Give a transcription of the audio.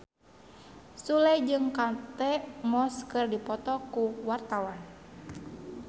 Sule jeung Kate Moss keur dipoto ku wartawan